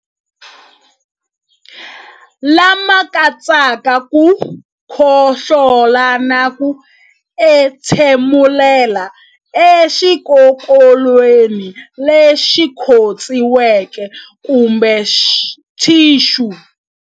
Lama katsaka ku khohlola na ku entshemulela exikokolweni lexi khotsiweke kumbe thixu.